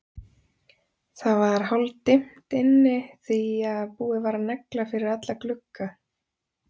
Það var hálfdimmt inni því að búið var að negla fyrir alla glugga.